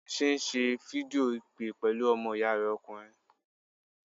Tunmise ń ṣe fídíò ìpè pẹ̀lú ọmọ ìyá rẹ̀ ọkùnrin.